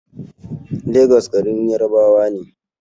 Legas garin Yarabawa ne